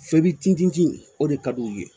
Feri tintinti o de ka di u ye